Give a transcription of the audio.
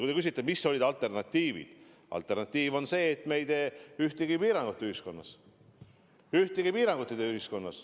Kui te küsite, mis võiks olla alternatiivid, siis üks alternatiiv on see, et me ei tee ühtegi piirangut ühiskonnas.